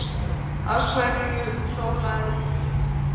Af hverju sóla eðlur sig?